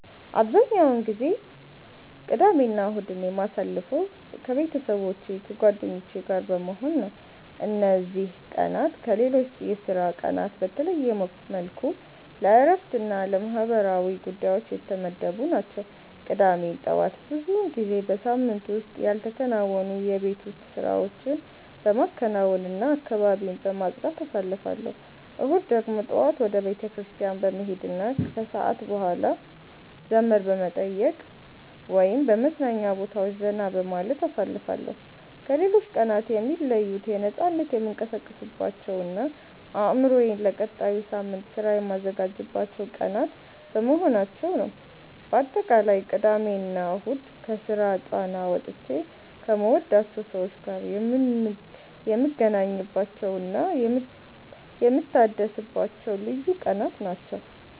አብዛኛውን ጊዜ ቅዳሜና እሁድን የማሳልፈው ከቤተሰቦቼና ከጓደኞቼ ጋር በመሆን ነው። እነዚህ ቀናት ከሌሎች የሥራ ቀናት በተለየ መልኩ ለእረፍትና ለማህበራዊ ጉዳዮች የተመደቡ ናቸው። ቅዳሜ ጠዋት ብዙውን ጊዜ በሳምንቱ ውስጥ ያልተከናወኑ የቤት ውስጥ ስራዎችን በማከናወንና አካባቢን በማጽዳት አሳልፋለሁ። እሁድ ደግሞ ጠዋት ወደ ቤተክርስቲያን በመሄድና ከሰዓት በኋላ ዘመድ በመጠየቅ ወይም በመዝናኛ ቦታዎች ዘና በማለት አሳልፋለሁ። ከሌሎች ቀናት የሚለዩት በነፃነት የምንቀሳቀስባቸውና አእምሮዬን ለቀጣዩ ሳምንት ሥራ የማዘጋጅባቸው ቀናት በመሆናቸው ነው። ባጠቃላይ ቅዳሜና እሁድ ከስራ ጫና ወጥቼ ከምወዳቸው ሰዎች ጋር የምገናኝባቸውና የምታደስባቸው ልዩ ቀናት ናቸው።